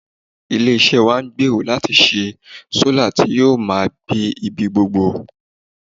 Ilé-iṣẹ́ wa ń gbèrò láti ṣe sólà tí ó máa gbé ibi gbogbo